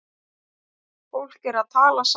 Fólk er að tala saman.